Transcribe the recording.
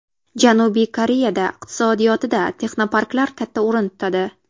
Janubiy Koreyada iqtisodiyotida texnoparklar katta o‘rin tutadi.